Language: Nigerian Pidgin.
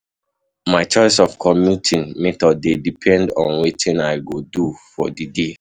My choice of commuting method dey depend on wetin I go do for di day.